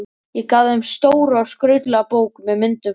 Ég gaf þeim stóra og skrautlega bók með myndum frá